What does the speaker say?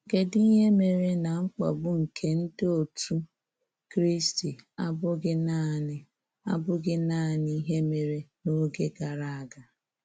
Kedụ ihe. Mere na mkpagbu nke ndị otú Kristi abụghị naanị abụghị naanị ihe mere n'oge gara aga?